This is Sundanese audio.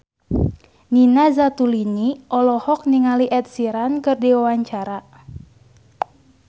Nina Zatulini olohok ningali Ed Sheeran keur diwawancara